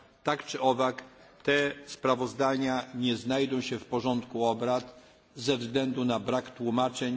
Tak czy owak, te sprawozdania nie znajdą się w porządku obrad ze względu na brak tłumaczeń.